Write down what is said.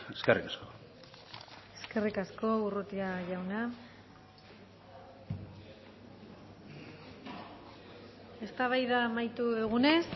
eskerrik asko eskerrik asko urrutia jauna eztabaida amaitu dugunez